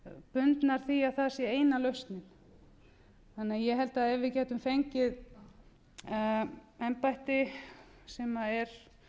bundnar því að það sé eina lausnin ég held að ef við gætum fengið embætti sem er